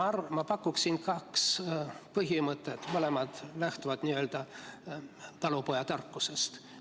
Ma pakun kahte põhimõtet, mõlemad lähtuvad talupojatarkusest.